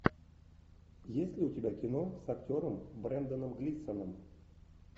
есть ли у тебя кино с актером бренданом глисоном